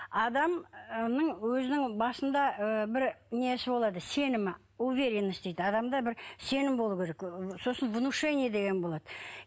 адамның өзінің басында ы бір несі болады сенімі уверенность дейді адамда бір сенім болуы керек сосын внушение деген болады